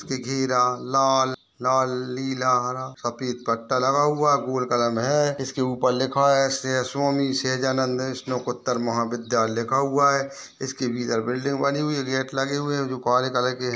घेरा लाल लालनीला हरा सफ़ेद पट्टा लगा हुआ गोल कलर में है इसके ऊपर लिखा है सेय स्वामी सहजानन्द स्नोकोतर महाविद्यालय लिखा हुआ है इसके भीतर बिल्डिंग बनी हुई गेट लगे हुए जो काले कलर के --